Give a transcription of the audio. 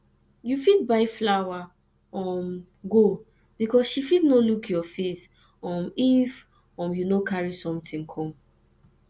you fit buy flower um go because she fit no look your face um if um you no carry something come